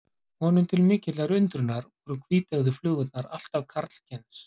Honum til mikillar undrunar voru hvíteygðu flugurnar allar karlkyns.